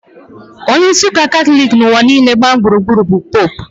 Onyeisi ụka Katọlik n'ụwa niile gbaa gburugburu bụ Popu